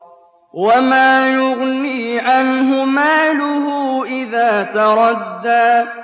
وَمَا يُغْنِي عَنْهُ مَالُهُ إِذَا تَرَدَّىٰ